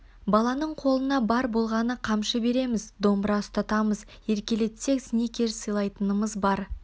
баланың қолына бар болғаны қамшы береміз домбыра ұстатамыз еркелетсек сникерс сыйлайтынымыз бар